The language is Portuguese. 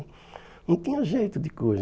Não tinha jeito de coisa.